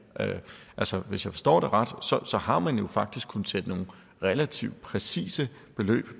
altså hvis jeg forstår det ret har man jo faktisk kunnet sætte nogle relativt præcise beløb